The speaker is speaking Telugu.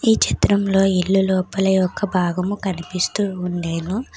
ఈ చిత్రంలో ఇల్లు లోపలి ఒక భాగం కనిపిస్తూ ఉండెను.